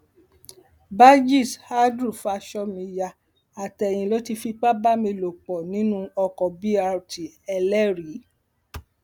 bajís andrew fa aṣọ mi ya àtẹyìn ló ti fipá bá mi lò pọ nínú oko b rteléríì